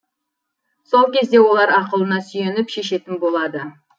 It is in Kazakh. сол кезде олар ақылына сүйеніп шешетін болады